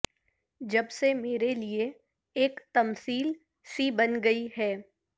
جب سے میرے لیے ایک تمثیل سی بن گئی ھے